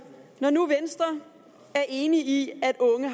når nu venstre er enig i at unge